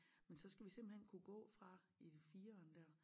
Men så skal vi simpelthen kunne går fra i fireren dér